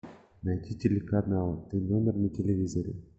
найти телеканал т номер на телевизоре